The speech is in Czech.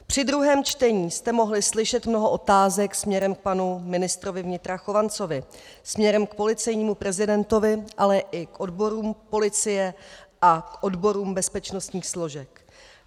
Při druhém čtení jste mohli slyšet mnoho otázek směrem k panu ministrovi vnitra Chovancovi, směrem k policejnímu prezidentovi, ale i k odborům policie a k odborům bezpečnostních složek.